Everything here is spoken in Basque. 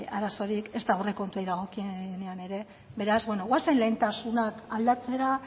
arazorik ezta aurrekontuei dagokienean ere beraz goazen lehentasunak aldatzera